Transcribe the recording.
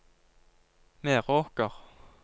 Meråker